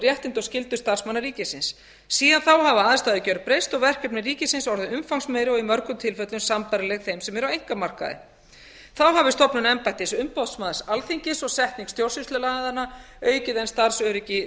réttindi og skyldur starfsmanna ríkisins síðan þá hafa aðstæður gjörbreyst og verkefni ríkisins orðið umfangsmeiri og í mörgum tilfellum sambærileg þeim sem eru á einkamarkaði þá hafi stofnun embættis umboðsmanns alþingis og setning stjórnsýslulaganna aukið enn starfsöryggi